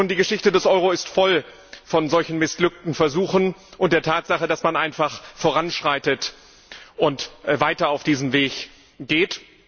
Nun, die Geschichte des Euro ist voll von solchen missglückten Versuchen und der Tatsache, dass man einfach voranschreitet und weiter auf diesem Weg geht.